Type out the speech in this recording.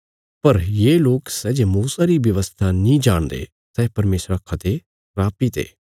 पर ये लोक सै जे मूसा री व्यवस्था नीं जाणदे सै परमेशरा खा ते स्रापित ये